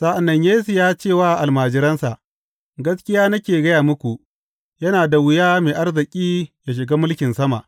Sa’an nan Yesu ya ce wa almajiransa, Gaskiya nake gaya muku, yana da wuya mai arziki yă shiga mulkin sama.